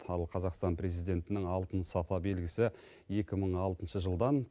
ал қазақстан президентінің алтын сапа белгісі екі мың алтыншы жылдан